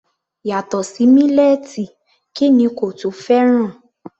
Yàtọ̀ sí mílẹ́ẹ̀tì kí ni kò tún fẹ́ràn?